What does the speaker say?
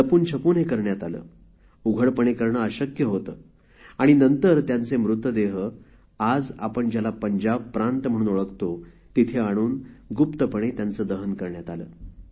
लपूनछपून हे करण्यात आले उघडपणे करणे अशक्य होते आणि नंतर त्यांचे मृतदेह आज आपण ज्याला पंजाब प्रांत म्हणून ओळखतो तिथे आणून गुप्तपणे दहन करण्यात आले